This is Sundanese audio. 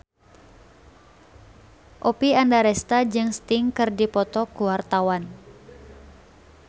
Oppie Andaresta jeung Sting keur dipoto ku wartawan